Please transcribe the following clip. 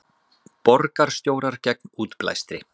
Borgarstjórar gegn útblæstri